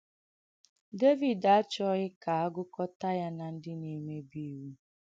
Dèvìd àchọ̀ghī ka a gùkọ̀tà ya na ndị ndị na-èmèbì ìwụ̀.